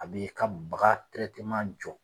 A b'i ka baga jɔ.